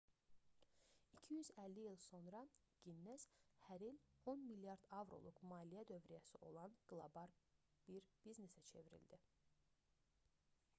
250 il sonra ginnes hər il 10 milyard avroluq $14,7 milyard abş dolları maliyyə dövrəsi olan qlobal bir biznesə çevrildi